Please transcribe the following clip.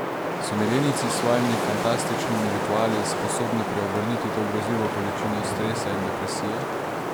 So milenijci s svojimi fantastičnimi rituali sposobni preobrniti to grozljivo količino stresa in depresije?